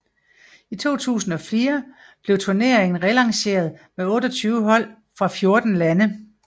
I 2004 blev turneringen relanceret med 28 hold fra fjorten lande